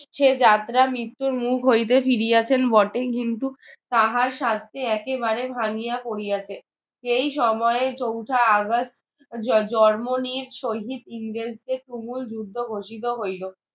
সে যাত্রা মৃত্যুর মুখ হইতে ফিরিয়াছেন বটে কিন্তু তাহার স্বাস্থ্য একেবারে ভাঙিয়া পড়িয়াছে সেই সময়ে চৌঠা August জ~ জন্ম নিজ সহিত ইংরেজদের তুমুল যুদ্ধ ঘোষিত হইল